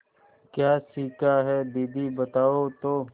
क्या सीखा है दीदी बताओ तो